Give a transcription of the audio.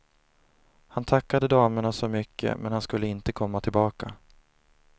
Han tackade damerna så mycket, men han skulle inte komma tillbaka.